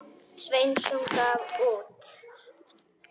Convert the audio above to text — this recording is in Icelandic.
Sveinsson gaf út.